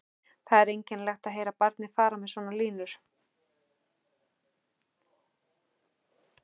Það er einkennilegt að heyra barnið fara með svona línur